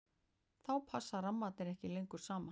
þá passa rammarnir ekki lengur saman